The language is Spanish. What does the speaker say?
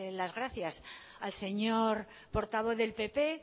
las gracias al señor portavoz del pp